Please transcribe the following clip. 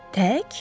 Tək?